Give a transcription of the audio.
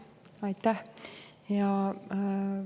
Aitäh!